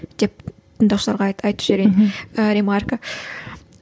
тек тыңдаушыларға айт айтып жіберейін мхм